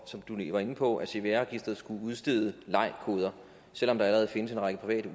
som du lige var inde på at cvr registeret skulle udstede lei koder selv om der allerede findes en række private